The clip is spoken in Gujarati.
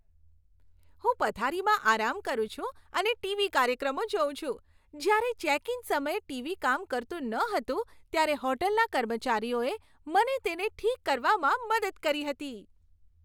હું પથારીમાં આરામ કરું છું અને ટીવી કાર્યક્રમો જોઉં છું. જ્યારે ચેક ઇન સમયે ટીવી કામ કરતું ન હતું ત્યારે હોટલના કર્મચારીઓએ મને તેને ઠીક કરવામાં મદદ કરી હતી.